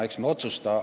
Küll me otsustame.